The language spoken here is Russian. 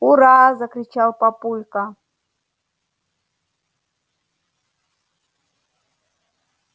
ура-а-а-а закричал папулька